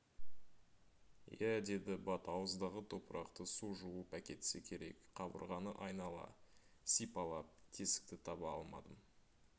иә деді бат ауыздағы топырақты су жуып әкетсе керек қабырғаны айнала сипалап тесікті таба алмадым